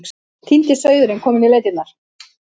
Týndi sauðurinn kominn í leitirnar.